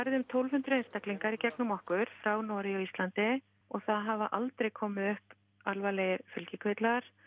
um tólf hundruð einstaklingar í gegnum okkur frá Noregi og Íslandi og það hafa aldrei komið upp alvarlegir fylgikvillar